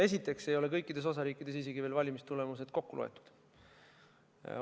Esiteks ei ole kõikides osariikides isegi veel valimistulemused kokku loetud.